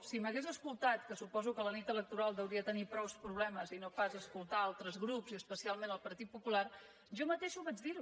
si m’hagués escoltat que suposo que la nit electoral deuria tenir prou problemes i no pas escoltar altres grups i especialment el partit popular jo mateixa ho vaig dir